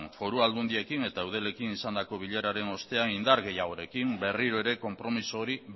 foru aldundiekin eta eudelekin izandako bileraren ostean indar gehiagorekin berriro ere konpromezu hori